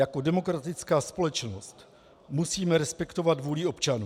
Jako demokratická společnost musíme respektovat vůli občanů.